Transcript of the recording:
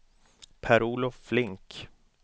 Per-Olof Flink